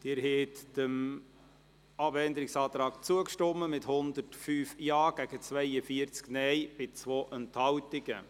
Sie haben dem Abänderungsantrag zugestimmt, mit 105 Ja- gegen 42 Nein-Stimmen bei 2 Enthaltungen.